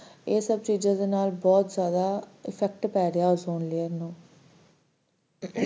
ਇਹ ਸਭ ਚੀਜ਼ਾਂ ਕਾਰਣ ਬਹੁਤ effect ਪੈ ਰਿਹਾ, ozone layer ਨੂੰ